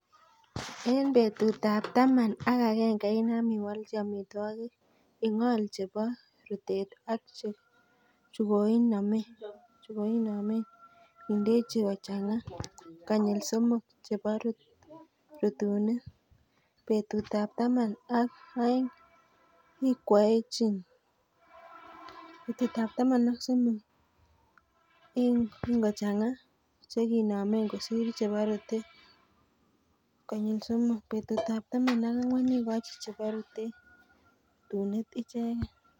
En betutab taman ak agenge inam iwolchi omitwokik. Ing'ol chebo rutunet ak chukonimen, indechin kochang'a konyil somok chebo rutunet. Betutab taman ok oeng' ikwoechin. Betutab taman ak somok ingochang'a chekinomen kosir chebo rutunet konyil somok. Betutab taman ak ang'wan ikochi chebo rutunet icheken.